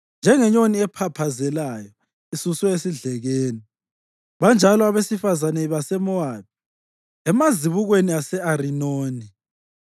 Njengenyoni ephaphazelayo isuswe esidlekeni, banjalo abesifazane baseMowabi emazibukweni ase-Arinoni.